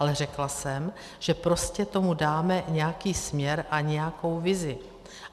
Ale řekla jsem, že prostě tomu dáme nějaký směr a nějakou vizi.